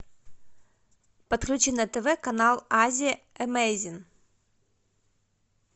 подключи на тв канал азия эмейзинг